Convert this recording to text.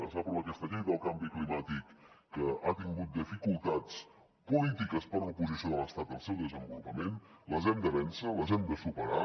es va aprovar aquesta llei del canvi climàtic que ha tingut dificultats polítiques per l’oposició de l’estat al seu desenvolupament les hem de vèncer les hem de superar